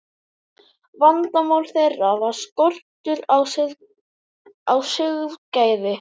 Vandamál þeirra var skortur á siðgæði.